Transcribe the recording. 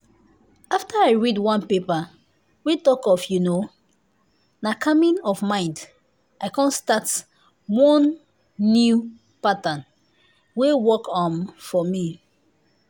after i read one paper wey talk of you know na calming of mind i come start one new pattern wey work um for me